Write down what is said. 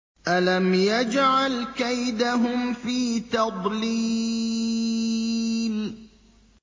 أَلَمْ يَجْعَلْ كَيْدَهُمْ فِي تَضْلِيلٍ